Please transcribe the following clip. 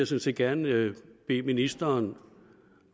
set gerne bede ministeren